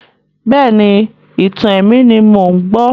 Bẹ́ẹ̀ni, ìtàn-àwọn ẹ̀mí ni mò ń gbọ́.